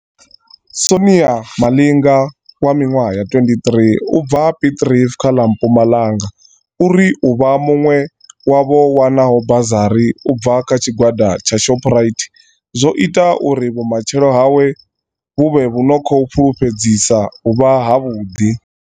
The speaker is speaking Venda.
Sonia Malinga 23 u bva Piet Retief kha ḽa Mpumalanga uri u vha muṅwe wa vho wanaho bazari u bva kha tshi gwada tsha Shoprite zwo ita uri vhumatshelo hawe vhu vhe vhu no khou fulufhedzisa uvha havhuḓi.